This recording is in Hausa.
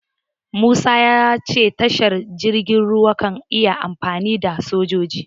Musa ya ce tashar jirgin ruwa kan iya amfanar da sojoji.